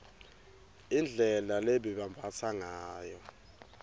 indlela lebebambatsa ngayo